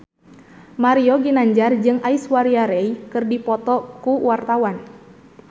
Mario Ginanjar jeung Aishwarya Rai keur dipoto ku wartawan